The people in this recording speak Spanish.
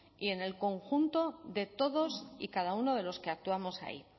y en el conjunto de todos y cada uno de los que actuamos ahí